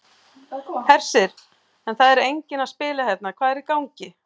Hersir: En það er enginn að spila hérna, hvað er í gangi?